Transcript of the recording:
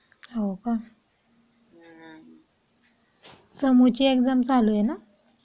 हो का. समोरची एक्झाम चालू आहे ना?